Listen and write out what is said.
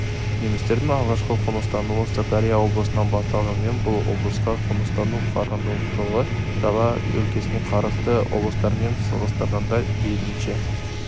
немістердің алғашқы қоныстануы сырдария облысынан басталғанымен бұл облысқа қоныстану қарқындылығы дала өлкесіне қарасты облыстармен салыстырғанда мейлінше